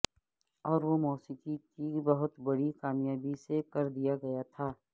اور وہ موسیقی کی بہت بڑی کامیابی سے کر دیا گیا تھا